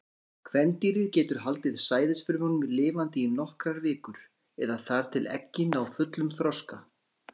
Kvendýrið getur haldið sæðisfrumunum lifandi í nokkrar vikur, eða þar til eggin ná fullum þroska.